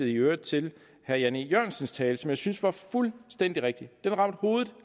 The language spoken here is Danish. i øvrigt til herre jan e jørgensens tale som jeg synes var fuldstændig rigtig den ramte hovedet